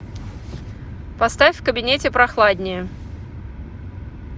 поставь в кабинете прохладнее